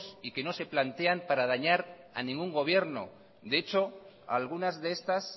y que no se plantean para dañar a ningún gobierno de hecho algunas de estas